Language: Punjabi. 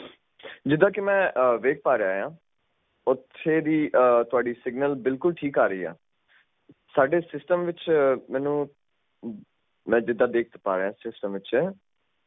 ਜਿੱਦਾਂ ਕੇ ਮੈਂ ਆ ਵੇਖ ਪਾ ਰਿਹਾ ਆ ਓਥੇ ਦੀ ਆ ਥੋੜੀ ਸਿਗਨਲ ਬਿਲਕੁਲ ਠੀਕ ਆ ਰਹੀ ਆ ਸਾਡੇ ਸਿਸਟਮ ਵਿੱਚ ਮੈਨੂੰ ਮੈਂ ਜਿੱਦਾਂ ਦੇਖ ਪਾ ਰਿਹਾ ਸਿਸਟਮ ਵਿੱਚ